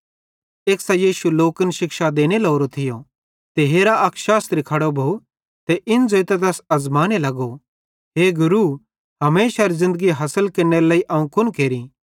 एक्सां यीशु लोकन शिक्षा देने लोरो थियो ते हेरा अक शास्त्री खड़ो भोव ते इन ज़ोइतां तैस अज़माने लगो ए गुरू हमेशारी ज़िन्दगी हासिल केरनेरे लेइ अवं कुन केरि